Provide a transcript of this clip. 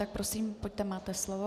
Tak prosím, pojďte, máte slovo.